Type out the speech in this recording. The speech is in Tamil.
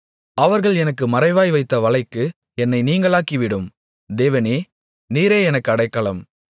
அவர்கள் எனக்கு மறைவாய் வைத்த வலைக்கு என்னை நீங்கலாக்கிவிடும் தேவனே நீரே எனக்கு அடைக்கலம்